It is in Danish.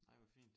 Nej hvor fint